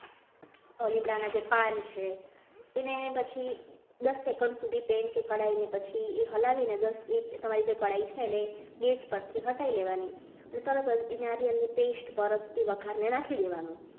લીમડાના જે પાન છે એને પછી દસ સેકન્ડ સુધી કે કઢાઈને પછી હલાવીને દસેક અઢાઈ છે ગેસ પરથી હટાવી લેવાની પછી એ નાળિયેરની pest ને બળ મળતા વઘારમાં નાખી દેવાની.